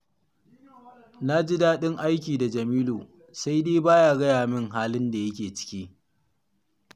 Ni ji daɗin aiki da Jamilu, sai dai ba ya gaya min halin da yake ciki